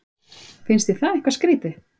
Finnst þér það eitthvað skrýtið?